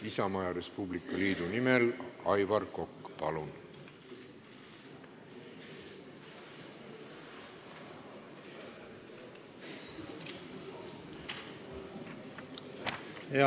Isamaa ja Res Publica liidu nimel Aivar Kokk, palun!